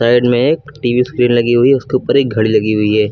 Side मे एक TV screen लगी हुई है उसके ऊपर एक घड़ी लगी हुई है।